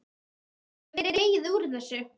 Það hefur dregið úr þessu.